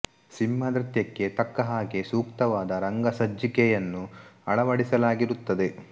ಸಿಂಹ ನೃತ್ಯಕ್ಕೆ ತಕ್ಕ ಹಾಗೆ ಸೂಕ್ತವಾದ ರಂಗ ಸಜ್ಜಿಕೆಯನ್ನು ಅಳವಾಡಿಸಲಾಗಿರುತ್ತದೆ